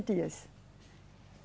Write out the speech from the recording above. dias.